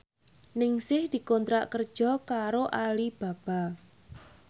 Ningsih dikontrak kerja karo Alibaba